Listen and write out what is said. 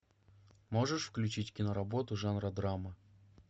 можешь включить киноработу жанра драма